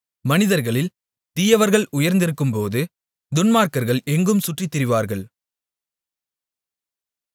மனிதர்களில் தீயவர்கள் உயர்ந்திருக்கும்போது துன்மார்க்கர்கள் எங்கும் சுற்றித்திரிவார்கள்